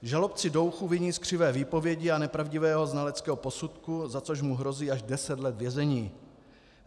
Žalobci Douchu viní z křivé výpovědi a nepravdivého znaleckého posudku, za což mu hrozí až deset let vězení.